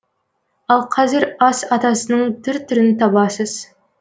ал қазір ас атасының түр түрін табасыз